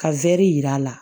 Ka yir'a la